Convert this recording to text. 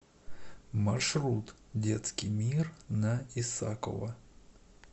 маршрут детский мир на исакова